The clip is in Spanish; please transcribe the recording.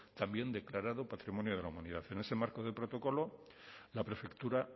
también declarado patrimonio de la humanidad en ese marco del protocolo la prefectura